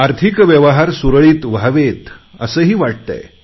आर्थिक व्यवहार सुरळीत व्हावेत असे वाटतेय